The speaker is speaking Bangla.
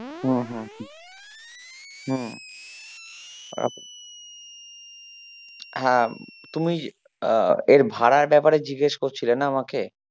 হম হম হম হ্যাঁ তুমি আহ এর ভাড়ার ব্যাপারে জিজ্ঞেস করছিলে না আমাকে?